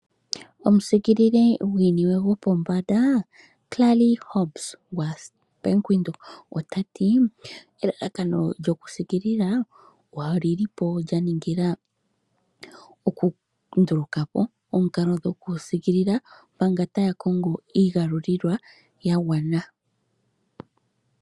Omusiikilili gwiiniwe gwopombanda, Klali Hoebes wa Bank windhoek otati, elalakano lyokusiikilila, olilipo lyaningila okundulukapo omikalo dhokusiikilila, manga taya kongo iigalulilwa ya gwana.